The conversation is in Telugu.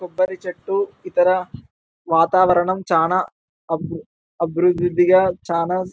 కొబ్బరి చెట్టు ఇతర వాతావరణం చానా అబ్దు అభివృద్ధిగా చానా --